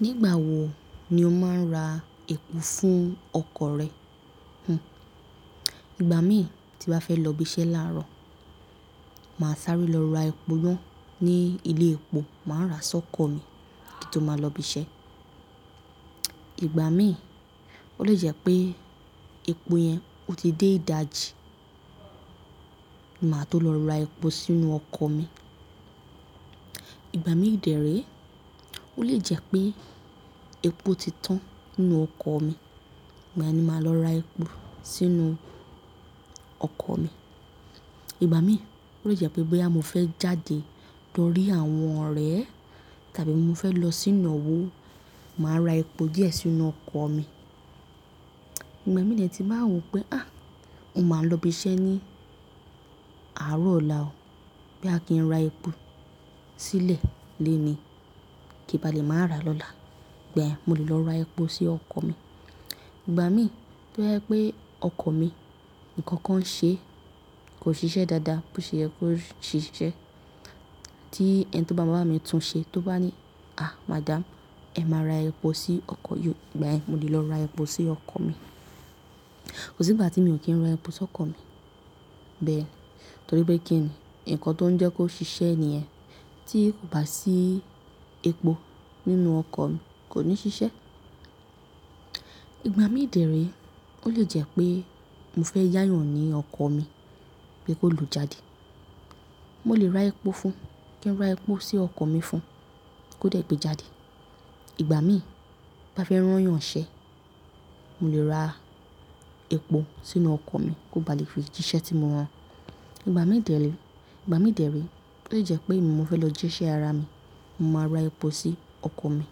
Nígbà wo ni o máa ń ra epo fún ọkọ̀ rẹ? Ìgbà mí tí bá fẹ́ lọ ibi iṣẹ́ láàárọ̀, màá sáré lọ ra epo ná ní ilé epo, màá ra sọ́kọ̀ mi kí n tó máa lọ ibi iṣẹ́. Ìgbà mí ó lè jẹ́ pé epo yẹn ó ti dé ìdajì, ni màá tó lọ ra epo sínú ọkọ̀ mi. Ìgbà mí de re ó lè jẹ́ pé epo ti tán nínú ọkọ̀ mi ìgbàyẹn ni màá lọ ra epo sínú ọkọ̀ mi ìgbà mí ó lè jẹ́ pé bóyá mú fẹ́ jáde lọ rí àwọn ọ̀rẹ́ tàbí mo fẹ́ lọ s'ínàwò, màá ra epo díẹ̀ sínú ọkọ̀ mi. Ìgbà mí ni dẹ ti báa wo pé, "Á! Mo máa ń lọ ibi iṣẹ́ ní àárọ̀ ọ̀la o. Bóyá kì n ra epo sílẹ̀ lenìí, kí bá lè máa ra lọ́la." Gbayen mo lè lọ ra epo sí ọkọ̀ mi. Ìgbà mí tó jẹ́ pé ọkọ̀ mi nǹkan kan ṣe kò ṣiṣẹ́ dáadáa, bó ṣe yẹ kó ṣiṣẹ́ tí ẹni tó bá ma wa bá mi tún un ṣe tó bá ni, "À! Madam, ẹ má ra epo sí ọkọ̀ yí o." Ìgbà yẹn mo lè lọ ra epo sí ọkọ̀ mi. Kò sí ìgbà tí mi ò kí ń ra epo sọ́kọ̀ mi. Torí pé kí ni? Ǹkan tó ń jẹ́ kó ṣiṣẹ́ nìyẹn tí kò bá sí epo nínú ọkọ̀ kò ní ṣiṣẹ́. Ìgbà mí dè rè ó lè jẹ́ pé mo fẹ́ yàyàn ọkọ̀ mi pé kó lọ jáde, mo lè ra epo fún un. Kin ra epo sí ọkọ̀ mi fún kó dẹ̀ gbé jáde. Ìgbà mí bá fẹ́ rán yàn n ṣẹ, mo lè ra epo sínú ọkọ̀ mi kó bá lè fi jiṣẹ́ tí mo rán. Ìgbà mí dèéle, ìgbà mí dèérè ó lè jẹ́ pé èmi mo fẹ́ lọ jí iṣẹ́ ara mi, mo máa ra epo sí ọkọ̀ mi.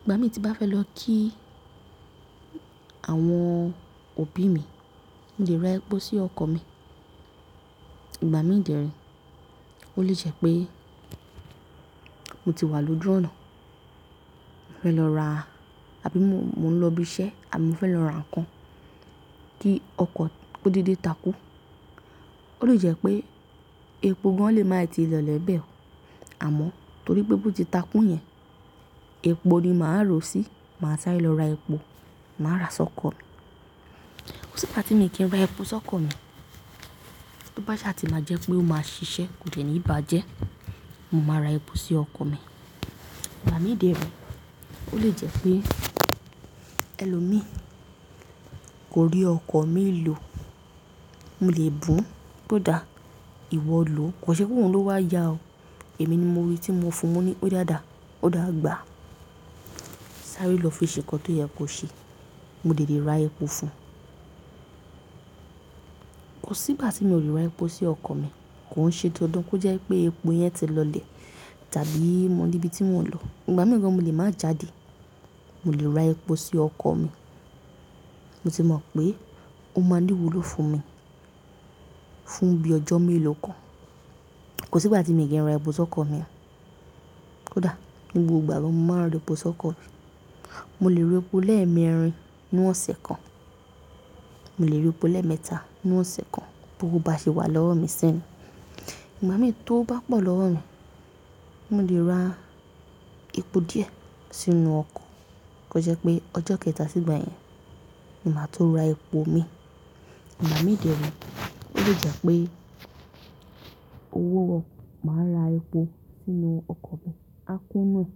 Ìgbà mí tí bá fẹ́ lọ kí àwọn òbí mi, mo lè ra epo sí ọkọ̀ mi. Ìgbà mí dèérè ó lè jẹ́ pé mo ti wà lójú ọ̀nà, mo fẹ́ lọ ra àbí mo ń lọ ibi iṣẹ́, àbí mo fẹ́ lọ ra nǹkan kí ọkọ̀ kó dédé takú. Ó lè jẹ́ pé epo gan lé máa i ti lọlẹ̀ bẹ́ẹ̀. Àmọ́ torí pé bó ti takú yẹn, epo ni màá rò sí. Màá sáré lọ ra epo, màá ra sọ́kọ̀ mi. Kò sí ìgbà tí mi kí ń ra epo sọ́kọ̀ mi. Tó bá ṣe àti máa jẹ́ pé ó máa ṣiṣẹ́ kò de ní bàjẹ́, mo máa ra epo sí ọkọ̀ mi. Ìgbà mí dèérè ó lè jẹ́ pé ẹlòmíì kò rí ọkọ̀ mi lò, mo lè bùn bó dáa, ìwọ lò ó. Kò ṣẹ́ pé òun ló wà yá a o. Èmi ni mo rí i tí mo fún un. Mo ní "Ó dáadáa, ó dàgbà." Sáré lọ fi ṣe nǹkan tó yẹ kó ṣe. Mo de lè ra epo fún un. Kò sí ìgbà tí mi ò lè ra epo sí ọkọ̀ mi kó ń ṣe dan dán. Kó jẹ́ pé epo yẹn ti lọlẹ̀ tàbí mo di ibi tí mo ń lọ. Ìgbà mìí gan mo lè máa jáde, mo lè ra epo sí ọkọ̀ mi. Mo sì mọ̀ pé ó máa ní ìwúlò fún mi, fún bí ọjọ́ mélòó kan. Kò sí ìgbà tí mi kì í n ra epo sọ́kọ̀ mi. Ó dáa. Ní gbogbo ìgbà mo máa ń ra epo sọ́kọ̀. Mo lè ra epo lẹ́ẹ̀mẹrin nínú ọ̀sẹ̀ kan. Mo lè ra epo lẹ́ẹ̀mẹ́ta nínú ọ̀sẹ̀ kan bó owó bá ṣe wà lọ́wọ́ mi si ni. Ìgbà mí tó bá pọ̀ lọ́wọ́ mi, mo lè ra epo díẹ̀ sínú ọkọ̀. Kó jẹ́ pé ọjọ́ kẹta sí ìgbà yẹn, ni màá tún ra epo mi. Ìgbà mí dèérè ó lè jẹ́ pé owó wọ, màá ra epo sínú ọkọ̀ mi. A kún inú ẹ̀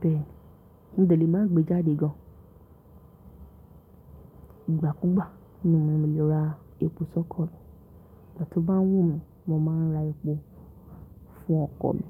bẹ́ẹ̀ ni. Mo de lè má gbé jáde gan. Ìgbà kúùgbà ní mo lè ra epo sọ́kọ̀ mi. Ìgbà tó bá wù mí, mo máa ń ra epo fún ọkọ̀ mi.